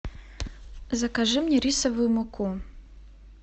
закажи мне рисовую муку